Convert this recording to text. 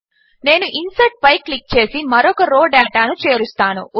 నేను ఇన్సర్ట్ పై క్లిక్ చేసి మరొక రో డేటాను చేరుస్తాను